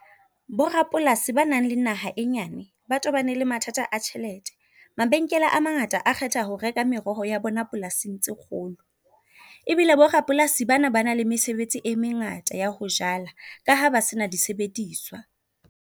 Bo rapolasi ba nang le naha e nyane ba tobane le mathata a tjhelete. Mabenkele a mangata a kgetha ho reka meroho ya bona polasing tse kgolo, ebile bo brapolasi bana ba nang le mesebetsi e mengata ya ho jala ka ha ba sena disebediswa.